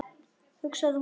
hugsaði hún.